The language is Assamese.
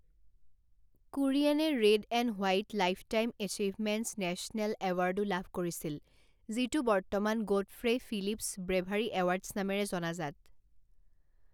কুৰিয়েনে red and white lifetime achievements national এৱাৰ্ডো লাভ কৰিছিল যিটো বৰ্তমান গ'ডফ্ৰে' ফিলিপছ ব্ৰেভাৰী এৱাৰ্ডছ নামেৰে জনাজাত।